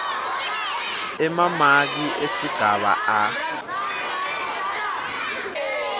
emamaki esigaba a